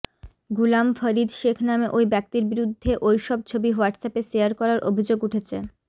গুলাম ফরিদ শেখ নামে ওই ব্যক্তির বিরুদ্ধে ওই সব ছবি হোয়াটসঅ্যাপে শেয়ার করার অভিযোগ উঠেছে